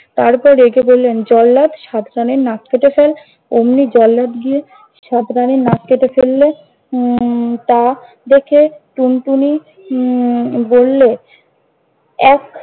তারপর রেগে বললেন, জল্লাদ, সাত রানীর নাক কেটে ফেল! ওমনি জল্লাদ গিয়ে, সাত রানীর নাক কেটে ফেলল। উম তা দেখে টুনটুনি উম বললে এক